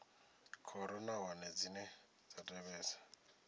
khoro nahone dzine dza tevhedza